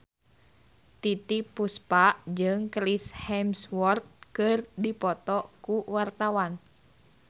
Titiek Puspa jeung Chris Hemsworth keur dipoto ku wartawan